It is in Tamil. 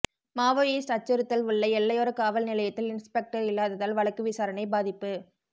மாவோயிஸ்ட் அச்சுறுத்தல் உள்ள எல்லையோர காவல் நிலையத்தில் இன்ஸ்பெக்டர் இல்லாததால் வழக்கு விசாரணை பாதிப்பு